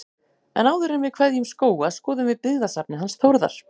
En áður en við kveðjum Skóga skoðum við byggðasafnið hans Þórðar.